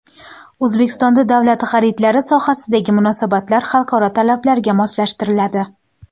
O‘zbekistonda davlat xaridlari sohasidagi munosabatlar xalqaro talablarga moslashtiriladi.